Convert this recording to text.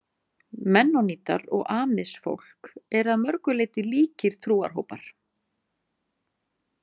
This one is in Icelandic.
Mennonítar og Amish-fólk eru að mörgu leyti líkir trúarhópar.